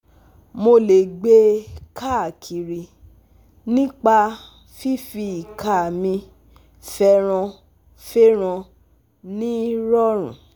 Mo lè gbe e káakiri nípa fífi ìka mi fẹ́rànfèràn ní rọ̀rùn